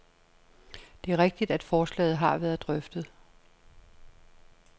Det er rigtigt, at forslaget har været drøftet.